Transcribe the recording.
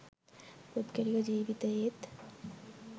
පුද්ගලික ජීවිතයේත්